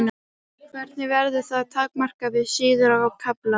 Hvernig verður það takmarkað við síður og kafla?